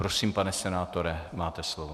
Prosím, pane senátore, máte slovo.